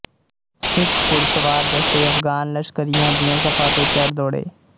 ਸਿੱਖ ਘੁੜਸਵਾਰ ਦਸਤੇ ਅਫ਼ਗ਼ਾਨ ਲਸ਼ਕਰੀਆਂ ਦੀਆਂ ਸਫ਼ਾਂ ਤੇ ਚੜ੍ਹ ਦੌੜੇ